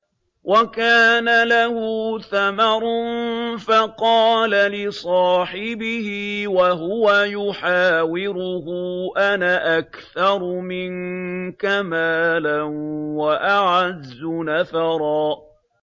وَكَانَ لَهُ ثَمَرٌ فَقَالَ لِصَاحِبِهِ وَهُوَ يُحَاوِرُهُ أَنَا أَكْثَرُ مِنكَ مَالًا وَأَعَزُّ نَفَرًا